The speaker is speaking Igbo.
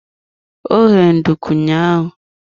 Ọ ghere nduku ụnyaahụ.